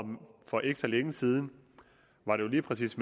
for ikke så længe siden var det jo lige præcis